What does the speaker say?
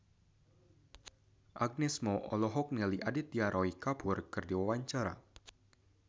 Agnes Mo olohok ningali Aditya Roy Kapoor keur diwawancara